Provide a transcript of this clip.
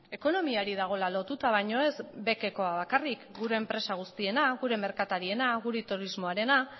ekonomiari dagoela lotuta baina ez beckoa bakarrik gure enpresa guztiarena gure merkatariena gure turismoarena